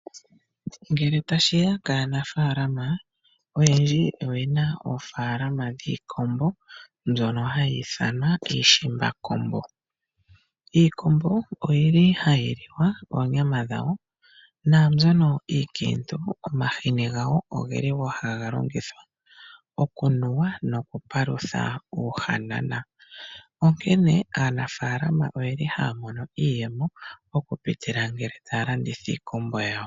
Ngele tashiya kaanafaalama oyendji oyena oofalama dhiikombo mbyono hayi ithanwa iishimbakombo. Iikombo oyili hayi liwa oonyama dhawo naambyono iinkiitu omahini gawo ohaga longithwa okunuwa nokupalutha uuhanana. Onkene aanafalama oyeli haya mono iiyemo okupitila ngele taya landitha iikombo yawo.